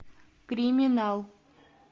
криминал